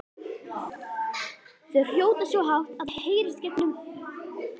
Ég verð að fara núna!